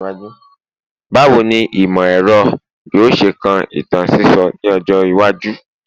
Bawo ni imọ-ẹrọ yoo ṣe kan itan sisọ ni ọjọ iwaju?